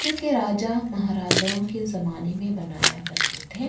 जोकि राजा- महाराजाओं के जमाने में बनाया करते थे --